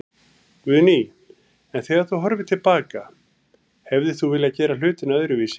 Guðný: En þegar þú horfir til baka, hefðir þú viljað gera hlutina öðruvísi?